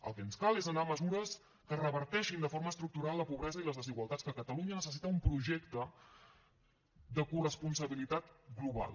el que ens cal és anar a mesures que reverteixin de forma estructural la pobresa i les desigualtats que catalunya necessita un projecte de corresponsabilitat global